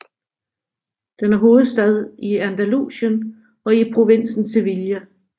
Den er hovedstad i Andalusien og i provinsen Sevilla